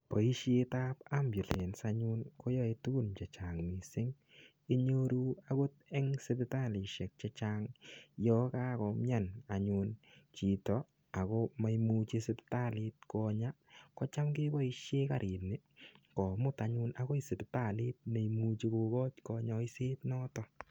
Boishetab ambulance anyun koyoei tukun chechang' mising' inyoru akot eng' sipitalishek chechang' yo kakomyan anyun chito ako maimuchi sipitalit Konya ko cham keboishe karini komut anyun akoi sipitalit neimuchi kokoch konyoiset noto